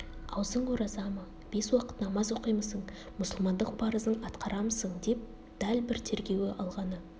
аузың ораза ма бес уақыт намаз оқимысың мұсылмандық парызын атқарамысың деп дәл бір тергеуге алғаны